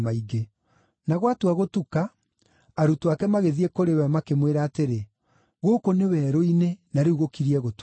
Na gwatua gũtuka, arutwo ake magĩthiĩ kũrĩ we, makĩmwĩra atĩrĩ, “Gũkũ nĩ werũ-inĩ na rĩu gũkiriĩ gũtuka.